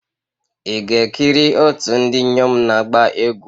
Ị ga-ekiri otu ndị inyom na-agba egwu?